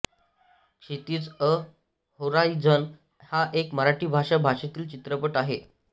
Kshitij A horizon हा एक मराठी भाषा भाषेतील चित्रपट आहे